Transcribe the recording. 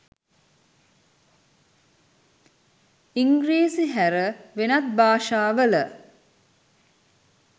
ඉංග්‍රීසි හැර වෙනත් භාෂාවල